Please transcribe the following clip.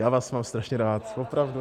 Já vás mám strašně rád, opravdu